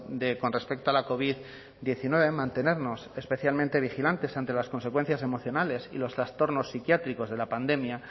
con respecto a la covid diecinueve de mantenernos especialmente vigilantes ante las consecuencias emocionales y los trastornos psiquiátricos